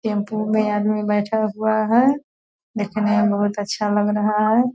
Tempo में आदमी बैठा हुआ है देखने में बहुत अच्छा लग रहा है।